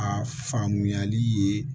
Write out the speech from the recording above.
A faamuyali ye